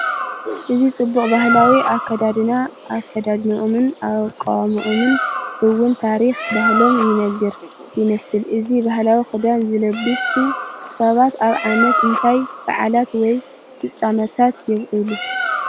እዚ ጽቡቕ ባህላዊ ኣከዳድና፡ ኣከዳድናኦምን ኣቃውማኦምን እውን ታሪኽ ባህሎም ይነግር። ይመስል። እዚ ባህላዊ ክዳን ዝለበሱ ሰባት ኣብ ዓመት እንታይ በዓላት ወይ ፍጻመታት የብዕሉ?